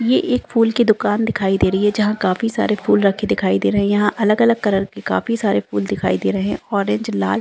ये एक फूल की दुकान दिखाई दे रही है जहाँ काफी सारे फूल रखे दिखाई दे रहे हैं यहाँ अलग-अलग कलर के काफी सारे फूल दिखाई दे रहे हैं ऑरेंज लाल --